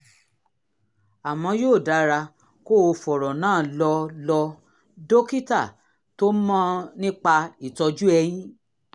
àmọ́ yóò dára kó o fọ̀rọ̀ náà lọ lọ dókítà tó mọ̀ nípa ìtọ́jú eyín